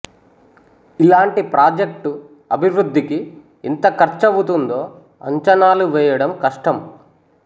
ఇలాంటి ప్రాజెక్టు అభివృద్ధికి ఎంత ఖర్చవుతుందో అంచనాలు వేయడం కష్టం